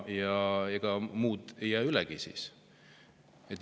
Ega muud ei jäägi siis üle.